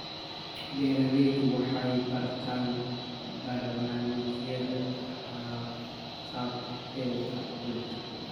Beeraleydu waxay bartaan barnaamijyada haqab-beelka cuntada.